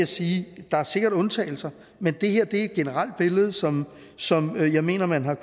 sige at der sikkert er undtagelser men det her et generelt billede som som jeg mener at man har